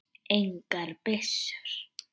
Engar byssur.